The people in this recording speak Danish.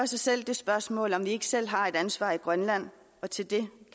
sig selv det spørgsmål om ikke vi selv har et ansvar i grønland og til det